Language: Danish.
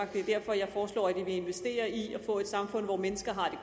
det er derfor jeg foreslår at vi investerer i at få et samfund hvor mennesker har det